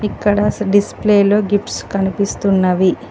ఇక్కడ స్ డిస్ప్లేలో గిఫ్ట్స్ కనిపిస్తున్నవి